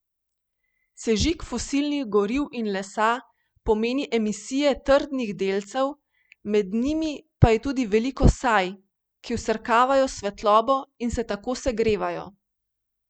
Sežig fosilnih goriv in lesa pomeni emisije trdnih delcev, med njimi pa je tudi veliko saj, ki vsrkavajo svetlobo in se tako segrevajo.